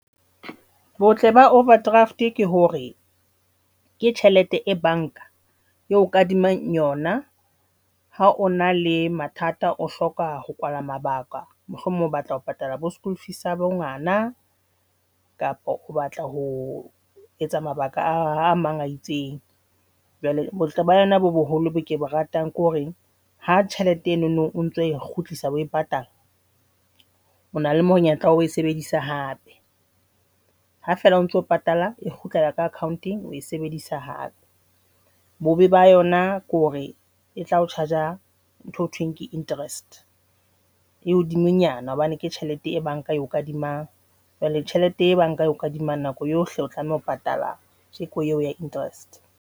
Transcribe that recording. Botle ba overdraft ke hore ke tjhelete e banka eo kadimang yona ha ona le mathata o hloka ho kwala mabaka mohlomong o batla ho patala bo school fees sa bo ngwana kapo o batla ho etsa mabaka a mang a itseng, jwale botle ba yona bo boholo bo ke bo ratang ke hore ha tjhelete enono o ntso e kgutlisa o e patala, o na le monyetla wa ho e sebedisa hape, ha fela o ntso patala e kgutlela ko account-eng o e sebedisa hape. Bobe ba yona ke hore e tla o charge a ntho e thweng ke interest e hodimonyana hobane ke tjhelete e banka eo kadimang jwale tjhelete e banka eo kadimang nako yohle o tlameha ho patala kajeko eo ya interest.